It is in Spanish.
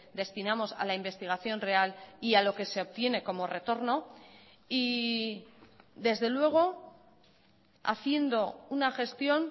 destinamos a la investigación real y a lo que se obtiene como retorno y desde luego haciendo una gestión